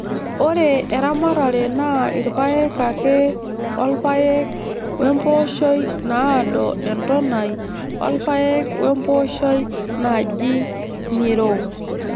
Ore eramatare naa irpaek ake o rpayek we mpooshoi naado entonai o rpayek we mpooshoi naji ng'iro.